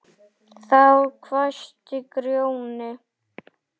Þá hvæsti Grjóni